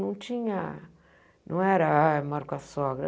Não tinha não era, ah, eu moro com a sogra.